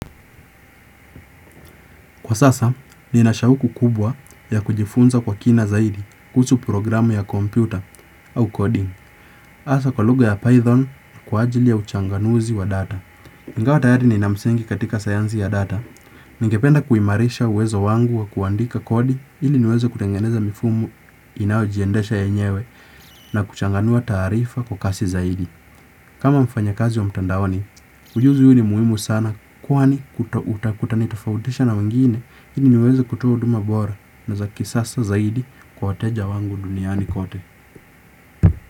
Kwa sasa, nina shauku kubwa ya kujifunza kwa kina zaidi kuhusu programu ya kompyuta au coding. Hasa kwa lugha ya Python kwa ajili ya uchanganuzi wa data. Ingawa tayari nina msingi katika sayansi ya data, ningependa kuimarisha uwezo wangu wa kuandika kodi ili niweze kutengeneza mifumo inayojiendesha yenyewe na kuchanganua taarifa kwa kasi zaidi. Kama mfanya kazi wa mtandaoni, ujuzi huu ni muhimu sana kwani kutanitofautisha na wengine ili niweze kutoa huduma bora na za kisasa zaidi kwa wateja wangu duniani kote.